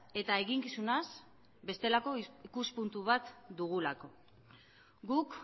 eta eginkizunaz bestelako ikuspuntu bat dugulako guk